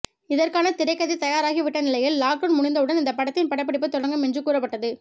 இதற்கான திரைக்கதை தயாராகி விட்ட நிலையில் லாக்டவுன் முடிந்தவுடன் இந்த படத்தின் படப்பிடிப்பு தொடங்கும் என்று கூறப்பட்டது